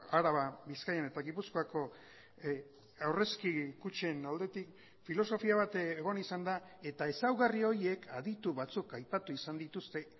araba bizkaian eta gipuzkoako aurrezki kutxen aldetik filosofia bat egon izan da eta ezaugarri horiek aditu batzuk aipatu izan dituzte